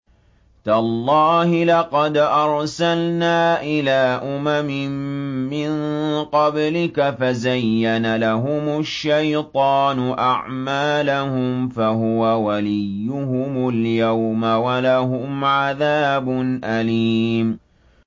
تَاللَّهِ لَقَدْ أَرْسَلْنَا إِلَىٰ أُمَمٍ مِّن قَبْلِكَ فَزَيَّنَ لَهُمُ الشَّيْطَانُ أَعْمَالَهُمْ فَهُوَ وَلِيُّهُمُ الْيَوْمَ وَلَهُمْ عَذَابٌ أَلِيمٌ